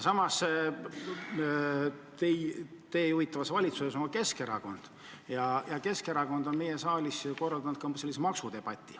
Samas kuulub praegu valitsusse ka Keskerakond, kes on meie saalis maksudebati korraldanud.